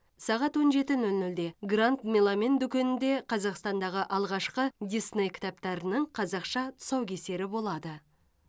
сағат он жеті нөл нөлде гранд меломен дүкенінде қазақстандағы алғашқы дисней кітаптарының қазақша тұсаукесері болады